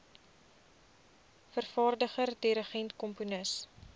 vervaardiger dirigent komponis